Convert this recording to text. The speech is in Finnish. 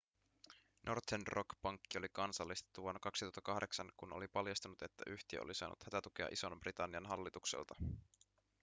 northern rock pankki oli kansallistettu vuonna 2008 kun oli paljastunut että yhtiö oli saanut hätätukea ison-britannian hallitukselta